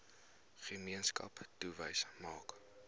gemeenskap touwys maak